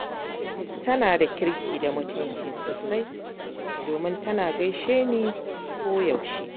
Tana da kirki da mutunci sosai, domin tana gaishe ni koyaushe.